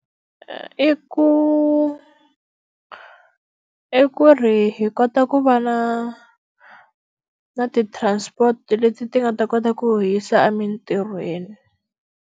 i ku, I ku ri hi kota ku va na na ti-transport leti ti nga ta kota ku hi yisa emintirhweni.